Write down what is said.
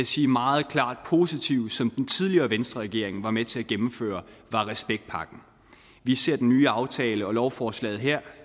sige meget klart positive som den tidligere venstreregering var med til at gennemføre var respektpakken vi ser den nye aftale og lovforslaget her